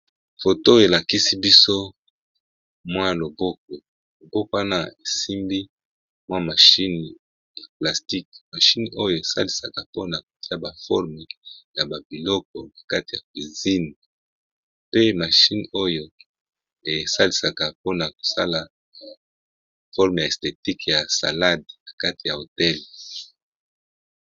Foto elakisi biso mwa loboko, loboko wana esimbi mwa machine ya plastique mashine oyo esalisaka pona kotia ba forme ya ba biloko na kati ya piscine pe mashine oyo esalisaka pona kosala forme ya esthetique ya salade na kati ya hotel.